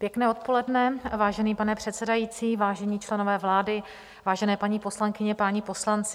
Pěkné odpoledne, vážený pane předsedající, vážení členové vlády, vážené paní poslankyně, páni poslanci.